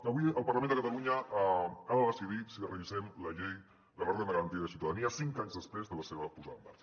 avui el parlament de catalunya ha de decidir si revisem la llei de la renda garantida de ciutadania cinc anys després de la seva posada en marxa